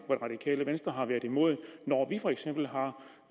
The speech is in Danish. det radikale venstre har været imod når vi for eksempel har